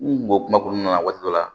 N kun bɛ kuma kɔnɔna na waati dɔ la